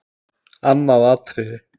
Annað atriði.